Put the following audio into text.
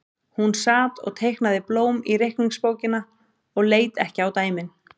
Hún sat og teiknaði blóm í reikningsbókina og leit ekki á dæmin.